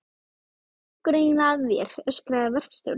Hvað gengur eiginlega að þér? öskraði verkstjórinn.